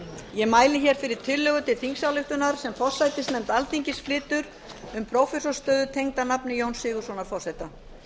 ég mæli hér fyrir tillögu til þingsályktunar sem forsætisnefnd alþingis flytur um prófessorsstöðu enda nafni jóns sigurðssonar forseta